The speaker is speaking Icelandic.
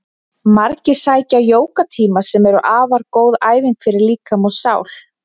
Margir sækja jógatíma sem eru afar góð æfing fyrir líkama og sál.